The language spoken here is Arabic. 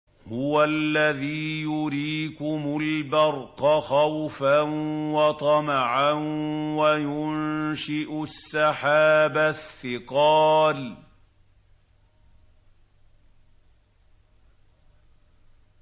هُوَ الَّذِي يُرِيكُمُ الْبَرْقَ خَوْفًا وَطَمَعًا وَيُنشِئُ السَّحَابَ الثِّقَالَ